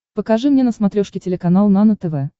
покажи мне на смотрешке телеканал нано тв